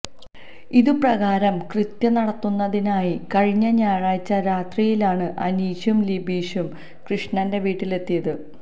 ഇതുപ്രകാരം കൃത്യം നടത്തുന്നതിനായി കഴിഞ്ഞ ഞായറാഴ്ച രാത്രിയിലാണ് അനീഷും ലിബീഷും കൃഷ്ണന്റെ വീട്ടിലെത്തിയത്